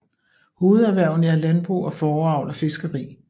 Hovederhverne er landbrug og fåreavl og fiskeri